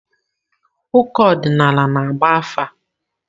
Ụkọ ọdịnala na-agba afa.